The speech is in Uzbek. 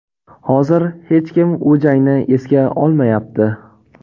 Hozir hech kim u jangni esga olmayapti.